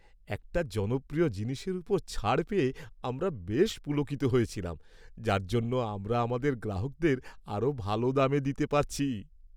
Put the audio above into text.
একটা জনপ্রিয় জিনিসের ওপর ছাড় পেয়ে আমরা বেশ পুলকিত হয়েছিলাম, যার জন্য আমরা আমাদের গ্রাহকদের আরও ভাল দামে দিতে পারছি।